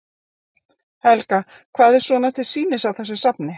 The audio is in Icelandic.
Helga: Hvað er svona til sýnis á þessu safni?